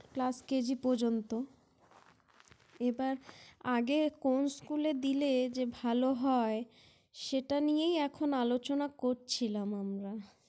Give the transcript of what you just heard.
Class KG পর্যন্ত। এবার আগে কোন School -এ দিলে যে ভালো হয় সেটা নিয়েই এখন আলোচনা করছিলাম আমরা।